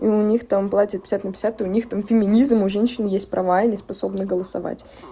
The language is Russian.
и у них там платят пятьдесят на пятьдесят у них там феминизм у женщины есть права и они способны голосовать